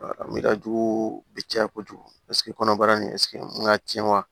Mi ka jugu bi caya kojugu kɔnɔbara nin ka tiɲɛ wa